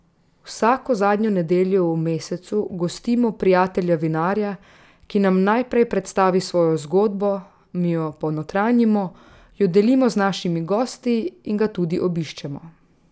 Vsako zadnjo nedeljo v mesecu gostimo prijatelja vinarja, ki nam najprej predstavi svojo zgodbo, mi jo ponotranjimo, jo delimo z našimi gosti in ga tudi obiščemo.